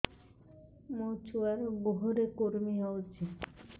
ମୋ ଛୁଆର୍ ଗୁହରେ କୁର୍ମି ହଉଚି